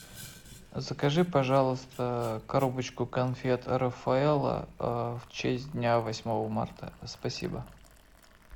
закажи пожалуйста коробочку конфет рафаэлло в честь дня восьмого марта спасибо